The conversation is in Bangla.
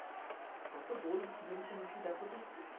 কতো গোল মেরেছে মেসি দেখতো একটু?